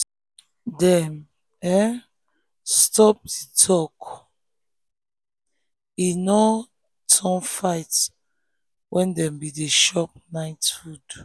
dem um stop the talk make um e um no turn fight when dem been dey chop night food.